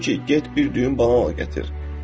Dedim ki, get bir düyün banan al gətir.